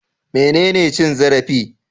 Menene cin zarafi?